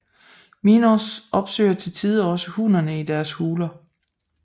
Minors opsøger til tider også hunnerne i deres huler